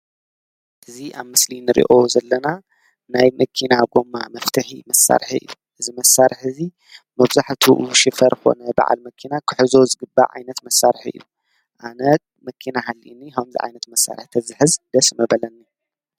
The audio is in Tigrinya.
እዚ ኣብ ምስሊ እንሪኦ ዘለና ናይ መኪና ጎማ መፍትሒ መሳርሒ እዩ፡፡ እዚ መሳርሒ እዚ መብዛሕትኡ ሹፌር ኮነ በዓል መኪና ክሕዞ ዝግባእ ዓይነት መሳርሒ እዩ፡፡ ኣነ ከምዚ ዓይነት መኪና ሃልዩኒ ከምዚ ዓይነት መሳርሒ ተዝሕዝ ደስ ምበለኒ፡፡